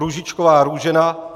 Růžičková Růžena